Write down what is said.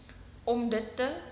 om dit te